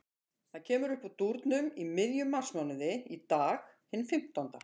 Það kemur uppúr dúrnum í miðjum marsmánuði, í dag, hinn fimmtánda.